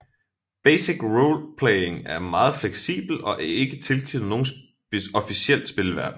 Basic Roleplaying er meget fleksibelt og er ikke tilknyttet nogen officiel spilverden